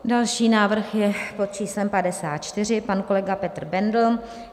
Další návrh je pod číslem 54, pan kolega Petr Bendl .